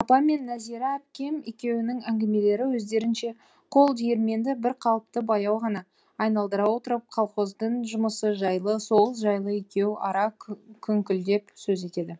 апам мен нәзира әпкем екеуінің әңгімелері өздерінше қол диірменді бір қалыпты баяу ғана айналдыра отырып колхоздың жұмысы жайлы соғыс жайлы екеу ара күңкілдеп сөз етеді